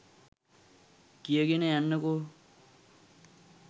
කියගෙන යන්නකො